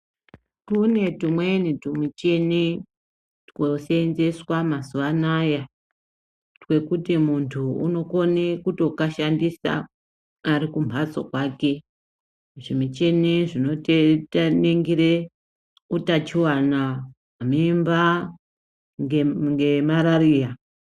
Kune tumweni tumicheni twoseenzeswa mazuva anaya, twekuti muntu unokone kutokashandisa ari kumhatso kwake, zvimicheni zvinoningire utachiwana, mimba ngemarariya.